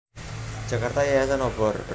Jakarta Yayasan Obor